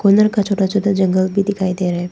का छोटा छोटा जंगल भी दिखाई दे रहा है।